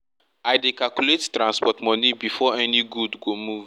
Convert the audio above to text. i dey calculate transport money before any good go move